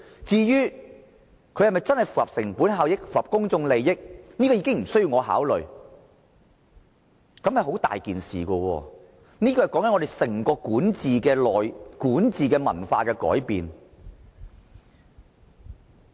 至於是否符合成本效益和公眾利益，已經無須考慮，但這樣做會引起嚴重的問題，那就是整個管治文化的改變。